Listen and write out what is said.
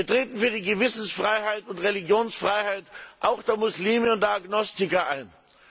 Wir treten für die Gewissensfreiheit und Religionsfreiheit auch der Muslime und Agnostiker ein.